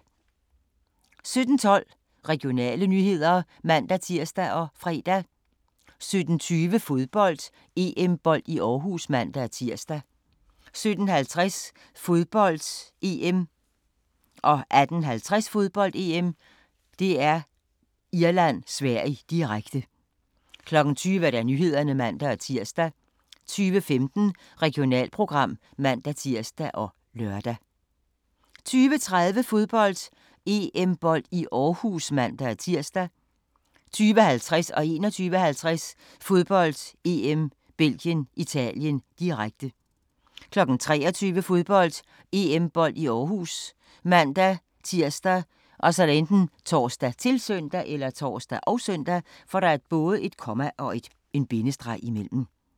17:12: Regionale nyheder (man-tir og fre) 17:20: Fodbold: EM-bold i Aarhus (man-tir) 17:50: Fodbold: EM - Irland-Sverige, direkte 18:50: Fodbold: EM - Irland-Sverige, direkte 20:00: Nyhederne (man-tir) 20:15: Regionalprogram (man-tir og lør) 20:30: Fodbold: EM-bold i Aarhus (man-tir) 20:50: Fodbold: EM - Belgien-Italien, direkte 21:50: Fodbold: EM - Belgien-Italien, direkte 23:00: Fodbold: EM-bold i Aarhus ( man-tir, tor, -søn)